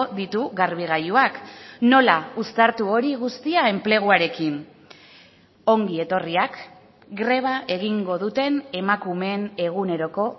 ditu garbigailuak nola uztartu hori guztia enpleguarekin ongi etorriak greba egingo duten emakumeen eguneroko